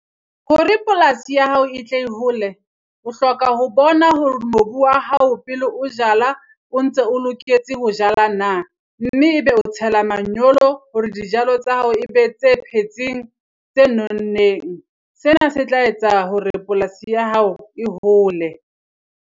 Hore polasi ya hao e tle e hole, o hloka ho bona hore mobu wa hao pele o jala o ntse o loketse ho jala na? Mme e be o tshela manyolo hore dijalo tsa hao e be tse phetseng tse nonneng. Sena se tla etsa hore polasi ya hao e hole.